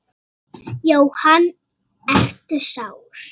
Jóhann: Ertu sár?